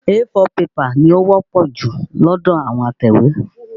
A4 pẹ́pà ni ó wọ́pọ̀ jù lọ́dọ̀ àwọn atẹ̀wé.